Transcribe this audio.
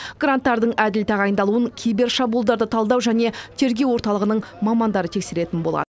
гранттардың әділ тағайындалуын кибер шабуылдарды талдау және тергеу орталығының мамандары тексеретін болады